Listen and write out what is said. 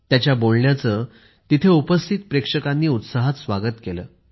त्यांच्या बोलण्याचे तेथे उपस्थित प्रेक्षकांनी उत्साहात स्वागत केले